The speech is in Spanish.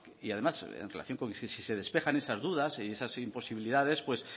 y además en relación con que si se despejan esas dudas y esas imposibilidades pues